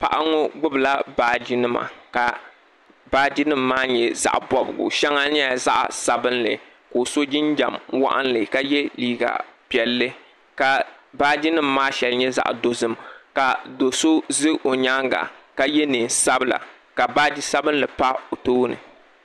Paɣa ŋɔ gbibila baaji nima ka baaji nima maa nyɛ zaɣa bobigu sheŋa nyɛla zaɣa sabinli ka o so jinjiɛm waɣinli ka ye liiga piɛlli ka baaji nima maa sheŋa nyɛ zaɣa dozim ka do'so ʒɛ o nyaanga ka ye niɛn'sabla ka baaji sabinli pa o tooni.